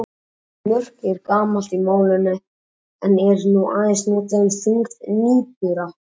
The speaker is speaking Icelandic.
Orðið mörk er gamalt í málinu en er nú aðeins notað um þyngd nýbura.